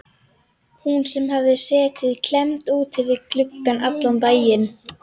Hún sem hafði setið klemmd úti við gluggann allan daginn.